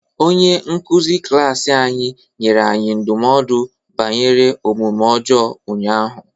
Onye nkuzi klaasị anyị nyere anyị ndụmọdụ banyere omume ọjọọ ụnyaahụ.